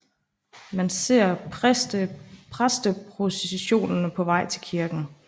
Man ser præsteprocessionen på vej til kirken